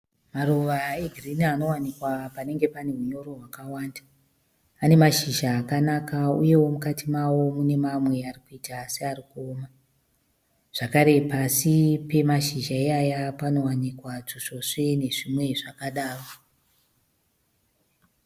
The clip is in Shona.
Maruva egirinhi anowanikwa panenge pane hunyoro hwakawanda. Ane mashizha akanaka, uyewo mukati mawo munemamwe arikuita searikuoma. Zvekare pasi penashizha iyaya panowanikwa tusvosve nezvimwe zvakadaro.